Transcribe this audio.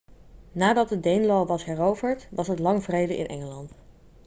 nadat de danelaw was heroverd was het lang vrede in engeland